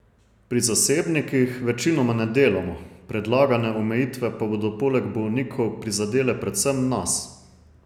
Pri zasebnikih večinoma ne delamo, predlagane omejitve pa bodo poleg bolnikov prizadele predvsem nas.